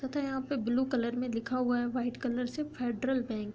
पता है यहाँ पे ब्लू कलर मे लिखा हुआ है। व्हाइट कलर से फेड्रल बैंक ।